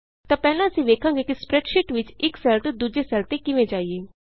ਇਸ ਲਈ ਪਹਿਲਾਂ ਅਸੀਂ ਵੇਖਾਂਗੇ ਕਿ ਸਪਰੈੱਡਸ਼ੀਟ ਵਿਚ ਇਕ ਸੈੱਲ ਤੋਂ ਦੂਜੇ ਸੈੱਲ ਤੇ ਕਿਵੇਂ ਜਾਈਏ